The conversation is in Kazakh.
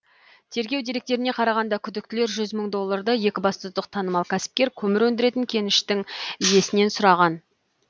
тергеу деректеріне қарағанда күдіктілер жүз мың долларды екібастұздық танымал кәсіпкер көмір өндіретін кеніштің иесінен сұраған